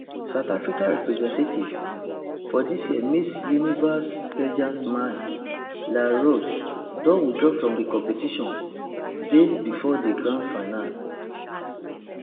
south africa representative for dis year miss universe pageant mia le roux don withdraw from di competition days before di grand finale